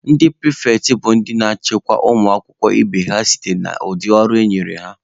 Ndị pịrịfetị bụ ndị na-achịkọba ụmụ akwụkwọ ibe ha na site n'ụdị ọrụ enyere ha.